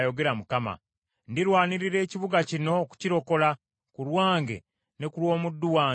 Ndirwanirira ekibuga kino nkirokole, ku lwange, ne ku lw’omuddu wange Dawudi.’ ”